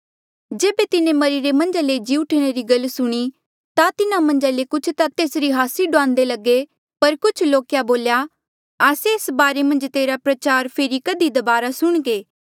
जेबे तिन्हें मरिरे मन्झा ले जी उठणा री गल सुणी ता तिन्हा मन्झा ले कुछ ता तेसरी हास्सी डुआन्दे लगे पर कुछ लोके बोल्या आस्से एस बारे मन्झ तेरा प्रचार फेरी कधी दबारा सुणघे